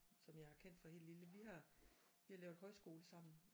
Som jeg har kendt fra helt lille vi har vi har lavet højskole sammen